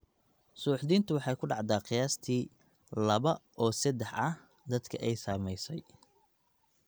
Suuxdintu waxay ku dhacdaa qiyaastii laba oo sedex ah dadka ay saamaysay.